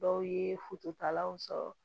Dɔw ye fututalaw sɔrɔ